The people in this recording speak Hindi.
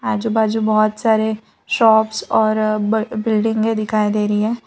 आजू बाजू बहुत सारे शॉप्स और ब बिल्डिंगे दिखाई दे रही है।